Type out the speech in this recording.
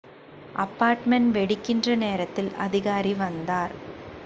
apartment வெடிக்கின்ற நேரத்தில் அதிகாரி வந்தார்